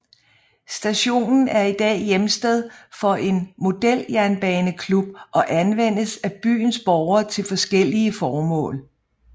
Stationen er i dag hjemsted for en modeljernbaneklub og anvendes af byens borgere til forskellige formål